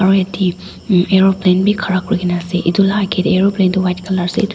dae hm aeroplane bhi khara kurena ase etu la agae dae aeroplane tuh white colour ase etu--